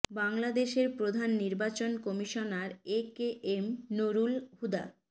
বাংলাদেশের প্রধান নির্বাচন commissioner A K M Nurul Huda